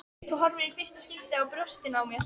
Þú horfir í fyrsta skipti á brjóstin á mér.